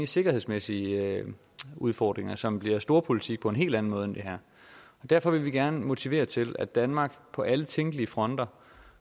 sikkerhedsmæssige udfordringer som bliver storpolitik på en helt anden måde end det her derfor vil vi gerne motivere til at danmark på alle tænkelige fronter